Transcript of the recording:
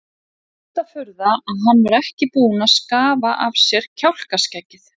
Mesta furða að hann var ekki búinn að skafa af sér kjálkaskeggið!